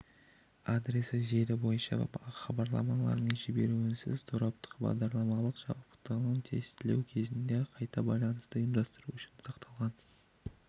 адресі желі бойынша хабарламаның жіберуінсіз тораптық бағдарламалық жабдықтауын тестілеу кезінде қайта байланысты ұйымдастыру үшін сақталған